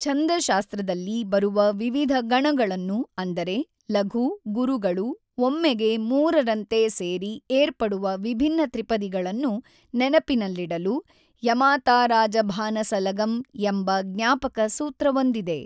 ಛಂದಶಾಸ್ತ್ರದಲ್ಲಿ ಬರುವ ವಿವಿಧ ಗಣಗಳನ್ನು ಅಂದರೆ ಲಘು ಗುರುಗಳು ಒಮ್ಮೆಗೆ ಮೂರರಂತೆ ಸೇರಿ ಏರ್ಪಡುವ ವಿಭಿನ್ನ ತ್ರಿಪದಿಗಳನ್ನು ನೆನಪಿನಲ್ಲಿಡಲು ಯಮಾತಾರಾಜಭಾನಸಲಗಂ ಎಂಬ ಜ್ಞಾಪಕ ಸೂತ್ರವೊಂದಿದೆ.